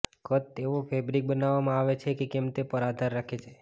કદ તેઓ ફેબ્રિક બનાવવામાં આવે છે કે કેમ તે પર આધાર રાખે છે